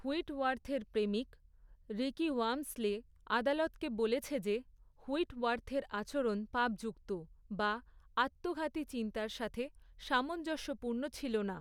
হুইটওয়ার্থের প্রেমিক, Ricky Walmsley, আদালতকে বলেছে যে, হুইটওয়ার্থের আচরণ পাপযুক্ত, বা আত্মঘাতী চিন্তার সাথে সামঞ্জস্যপূর্ণ ছিল না।